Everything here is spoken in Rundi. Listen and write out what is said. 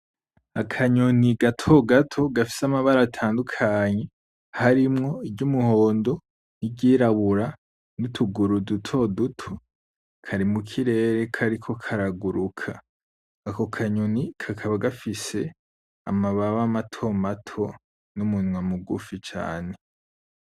Akanyoni gato gato gafise amabara atandukanye, harimwo iry'umuhondo, n'iryirabura, nutuguru duto duto. Kari mukirere kariko karaguruka. Ako kanyoni kakaba gafise amababa mato mato, n'umunwa mugufi cane.